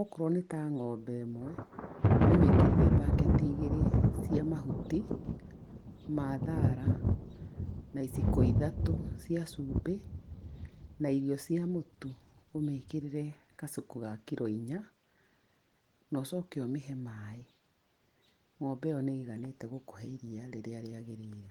Okorwo nĩta ng'ombe ĩmwe, ũmĩkĩrĩre mbaketi igĩrĩ cia mahuti, ma thara, na iciko ithatũ cia cumbĩ, na irio cia mũtu, ũmĩkĩrĩre kacuku ga kiro inya, na ũcoke ũmĩhe maĩ. Ng’ombe ĩyo nĩ ĩiganĩtie gũkũhe iriia rĩrĩa rĩagĩrĩire.